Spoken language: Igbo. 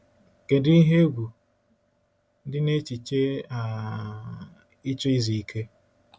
Kedu ihe egwu dị n’echiche um ịchọ izu ike?